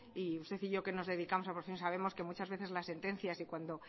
y usted y yo que nos dedicamos a sabemos que muchas veces las sentencias y cuando